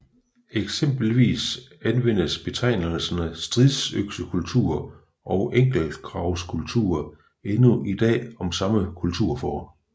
Eksempelvis anvendes betegnelserne stridsøksekultur og enkeltgravskultur endnu i dag om samme kulturform